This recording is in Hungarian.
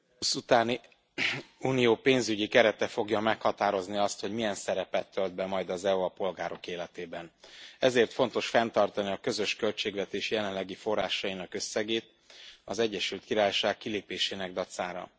Elnök úr, A 2020 utáni Európai Unió pénzügyi kerete fogja meghatározni azt, hogy milyen szerepet tölt be majd az EU a polgárok életében. Ezért fontos fenntartani a közös költségvetés jelenlegi forrásainak összegét az Egyesült Királyság kilépésének dacára.